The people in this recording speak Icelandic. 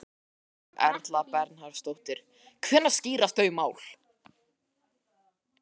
Berghildur Erla Bernharðsdóttir: Hvenær skýrast þau mál?